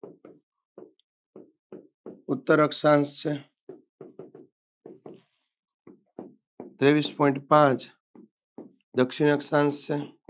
ઉત્તર અક્ષાંશ છે ત્રેવીસ point પાંચ દક્ષિણ અક્ષાંશ છે.